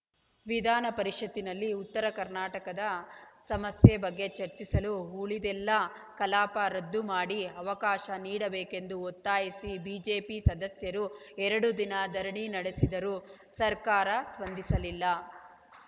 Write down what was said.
ವಿಧಾನ ಪರಿಷತ್‌ನಲ್ಲಿ ಉತ್ತರ ಕರ್ನಾಟಕದ ಸಮಸ್ಯೆ ಬಗ್ಗೆ ಚರ್ಚಿಸಲು ಉಳಿದೆಲ್ಲ ಕಲಾಪ ರದ್ದು ಮಾಡಿ ಅವಕಾಶ ನೀಡಬೇಕೆಂದು ಒತ್ತಾಯಿಸಿ ಬಿಜೆಪಿ ಸದಸ್ಯರು ಎರಡು ದಿನ ಧರಣಿ ನಡೆಸಿದರೂ ಸರ್ಕಾರ ಸ್ಪಂದಿಸಲಿಲ್ಲ